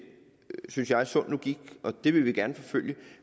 synes jeg sund logik og det vil vi gerne forfølge